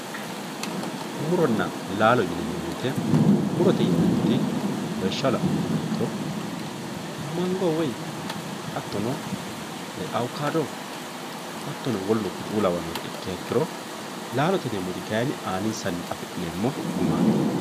muronna laalo yineemmo woyte murote yineemmoti lawishshaho la'nummoha ikkiro mango woy hattono awukaado hattono woluno kuri'u lawannorw ikkiha ikkiro lallote yineemmoti kay aninsanni afi'neemmo gumaati